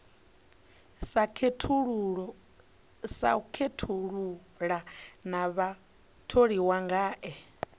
sa khethulula na vhatholiwa ngae